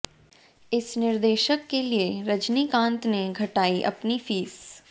इस निर्देशक के लिए रजनीकांत ने घटाई अपनी फीस